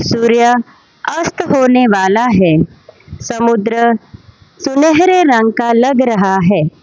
सूर्य अस्त होने वाला है समुद्र सुनहरे रंग का लग रहा है।